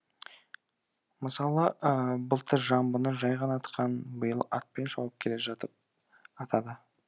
мысалы былтыр жамбыны жай ғана атқан биыл атпен шауып келе жатып атады